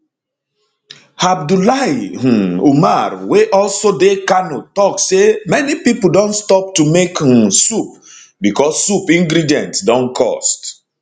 abdullahi um umar wey also dey kano tok say many pipo don stop to make um soup becos soup ingredients don cost